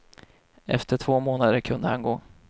Efter två månader kunde han gå.